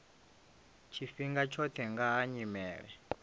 tshifhinga tshoṱhe nga ha nyimele